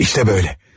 İştə böylə.